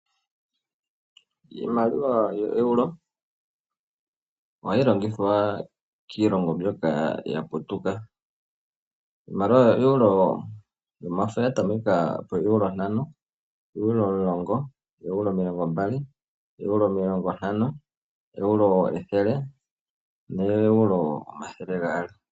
Iimaliwa yoo Euro, oha yi longithwa kiilongo mbyoka ya putuka. Iimaliwa yoo Euro, omafo oya tameka poo euro ntano, oo Euro omulongo, euro omilongo mbali, ooeuro omilongo ntano, ooeuro ethele osho wo ooeuro omathele gaali.